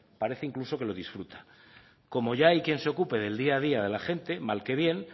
parece incluso que lo disfruta como ya hay quien se ocupe del día a día de la gente mal que bien